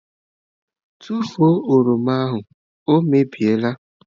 Tụfuo oroma ahụ! ọ mebie la.